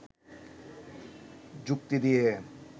যুক্তি দিয়ে